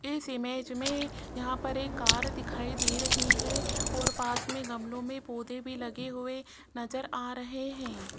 इस इमेज में यहां पर एक कार दिखाई दे रही है और पास में गमलों में पौधे भी लगे हुए नजर आ रहे हैं।